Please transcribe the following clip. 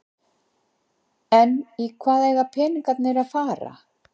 En í hvað eiga peningarnir að fara?